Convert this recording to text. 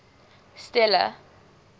stella